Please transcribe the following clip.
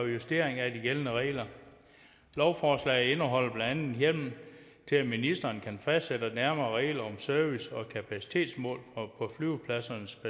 justering af de gældende regler lovforslaget indeholder blandt andet en hjemmel til at ministeren kan fastsætte nærmere regler om service og kapacitetsmål på flyvepladsernes